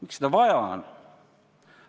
Miks seda vaja on?